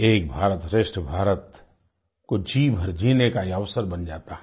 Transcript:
एक भारतश्रेष्ठ भारत को जीभर जीने का ये अवसर बन जाता है